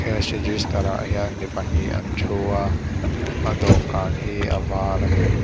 cash register ah hian mi pahnih an thu a a dawhkan hi a var ani.